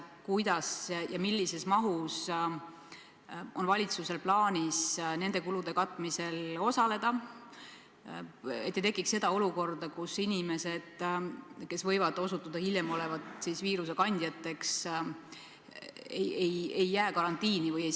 Kuidas, millises mahus ja kas üldse on valitsusel plaanis nende kulude katmisel osaleda, et ei tekiks olukorda, kus inimesed, kes hiljem võiksid osutuda viirusekandjateks, ei jää karantiini?